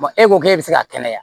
e ko k'e bɛ se ka kɛnɛya